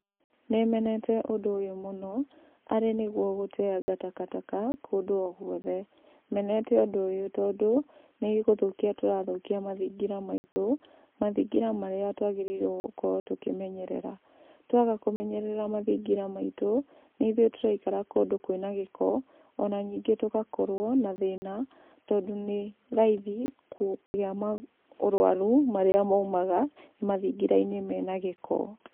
Nĩ menete ũndũ ũyũ mũno, arĩ nĩguo gũteanga takataka kũndũ o gũothe. Menete ũndũ ũyũ tondũ, nĩ gũthũkia tũrathũkia mathingira maitũ, mathingira marĩa twagĩrĩirwo gũkorwo tũkĩmenyerera, twaga kũmenyerera mathingira maitũ, nĩ ithuĩ tũraikara kũndũ kwĩna gĩko, ona ningĩ tũgakorwo na thĩna, tondũ nĩ raithi kũgĩa maũrwaru marĩa maumaga mathingira-inĩ mena gĩko.